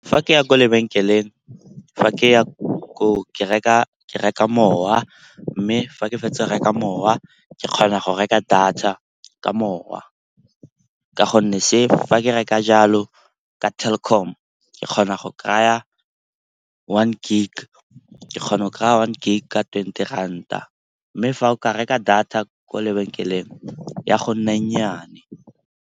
Fa ke ya kwa lebenkeleng, fa ke ya ko o ke reka ke reka mowa mme fa ke fetsa reka mowa ke kgona go reka data ka mowa. Ka gonne se fa ke reka jalo, ka Telkom ke kgona go kry-a one gig ka twenty ranta. Mme fa o ka reka data kwa lebenkeleng ya go nna e nnyane.